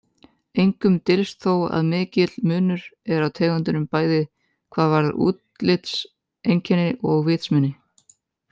Engum dylst þó að mikill munur er á tegundunum bæði hvað varðar útlitseinkenni og vitsmuni.